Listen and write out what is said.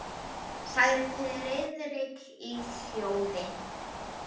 sagði Friðrik í hljóði.